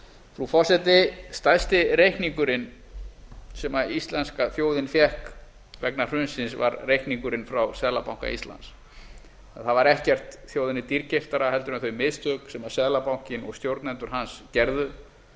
frú forseti stærsti reikningurinn sem íslenska þjóðin fékk vegna hrunsins var reikningurinn frá seðlabanka íslands það var ekkert þjóðinni dýrkeyptara en þau mistök sem seðlabankinn og stjórnendur hans gerðu